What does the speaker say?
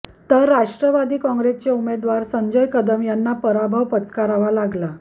तर राष्ट्रवादी काँग्रेसचे उमेदवार संजय कदम यांना पराभव पत्करावा लागला